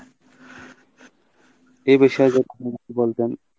এ বিষয়ে যদি বলতেন